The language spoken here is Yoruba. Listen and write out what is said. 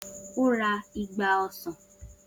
O ra igba ọsán.